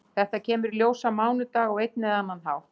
Þetta kemur í ljós á mánudag á einn eða annan hátt.